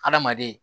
Hadamaden